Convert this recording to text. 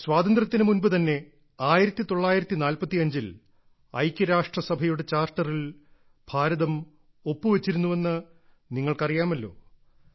സ്വാതന്ത്ര്യത്തിന് മുമ്പ് തന്നെ 1945ൽ ഐക്യരാഷ്ട്രസഭയുടെ ചാർട്ടറിൽ ഇന്ത്യ ഒപ്പുവെച്ചിരുന്നുവെന്ന് നിങ്ങൾക്കറിയാമല്ലേ